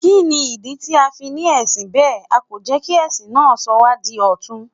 Kí ni ìdí tí a fi ní ẹ̀sìn bẹ́ẹ̀, a kò jẹ́ kí ẹ̀sìn náà sọ wá di ọ̀tun?